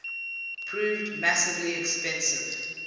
proved massively expensive